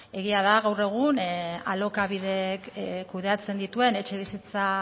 egia da gaur egun alokabidek kudeatzen dituen etxebizitza